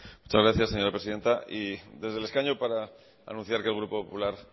muchas gracias señora presidenta y desde el escaño para anunciar que el grupo popular